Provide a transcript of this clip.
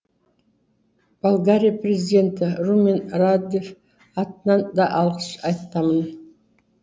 болгария президенті румен радев атынан да алғыс айтамын